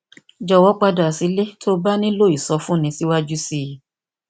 jọwọ padà sílé tí o bá nílò ìsọfúnni síwájú sí i